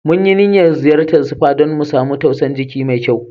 Mun yi niyan ziyacen spa dan mu samu tausan jiki mai kyau.